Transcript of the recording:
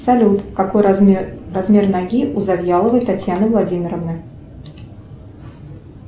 салют какой размер размер ноги у завьяловой татьяны владимировны